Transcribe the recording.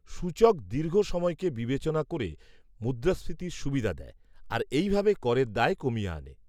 সূচক দীর্ঘ সময়কে বিবেচনা করে মুদ্রাস্ফীতির সুবিধা দেয়, আর এইভাবে করের দায় কমিয়ে আনে।